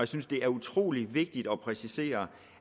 synes det er utrolig vigtigt at præcisere